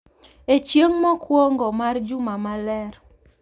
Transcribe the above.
En chieng’ mokwongo mar juma maler,